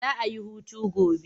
Za a yi hutu gobe.